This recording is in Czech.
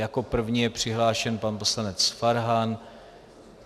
Jako první je přihlášen pan poslanec Farhan.